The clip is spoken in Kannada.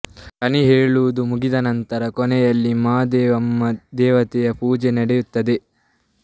ಕಣಿ ಹೇಳುವುದು ಮುಗಿದ ನಂತರ ಕೊನೆಯಲ್ಲಿ ಮಾದೇವಮ್ಮ ದೇವತೆಯ ಪೂಜೆ ನಡೆಯುತ್ತದೆ